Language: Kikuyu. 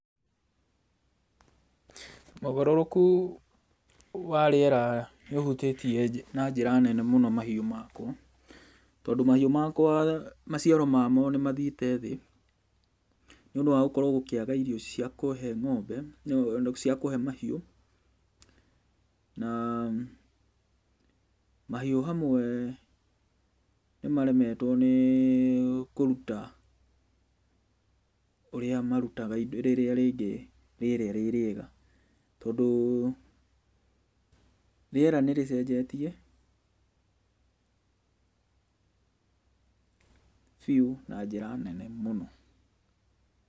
Ũgarũrũku wa rĩera nĩ ũhutĩtie na njĩra nene mũno mahiũ makwa, tondũ mahiũ makwa maciaro mamo nĩ mathiĩte thĩ, nĩ ũndũ wa gũkorwo gũkĩaga irio cia kũhee ng'ombe, cia kũhee mahiu. Na mahiũ hamwe nĩ maremetwo nĩ kũruta ũrĩa marutaga rĩrĩa rĩngĩ rĩera rĩ rĩega. Tondũ rĩera nĩ rĩcenjetie, biũ na njĩra nene mũno.